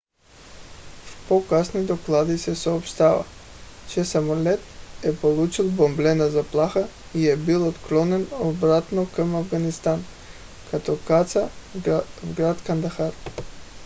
в по-късни доклади се съобщава че самолетът е получил бомбена заплаха и е бил отклонен обратно към афганистан като каца в град кандахар